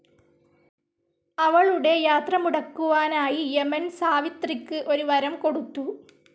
അവളുടെ യാത്രമുടക്കുവാനായി യമൻ സാവിത്രിക്ക് ഒരു വരം കൊടുത്തു.